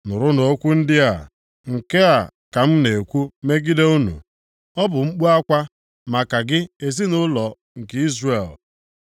Nụrụnụ okwu ndị a, nke a ka m na-ekwu megide unu, ọ bụ mkpu akwa maka gị ezinaụlọ nke Izrel: